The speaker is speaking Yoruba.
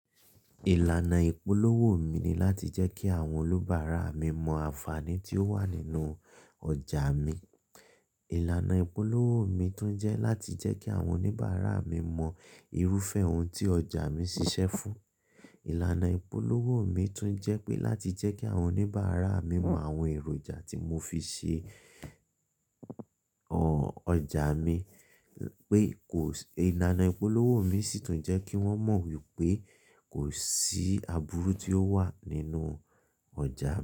Ìlànà ìpolówó mi ni láti jẹ́ kí àwọn olùbáárà mi mọ àǹfààní tí ó wà nínú ọjà mi. Ìlànà ìpolówó mi tún jẹ́ láti jẹ́ kí àwọn oníbàárà mi mọ irúfẹ́ ohun tí ọjà mi ṣiṣẹ́ fún. Ìlànà ìpolówó mi tún jẹ́ pé láti jẹ́ kí àwọn oníbàárà mi mọ àwọn èròjà tí mo fi ṣe ọjà mi pé kò sí-- ìlànà ìpolówó mi sì tún jẹ́ kí wọ́n mọ wípé kò sí aburu tí ó wà nínú ọjà.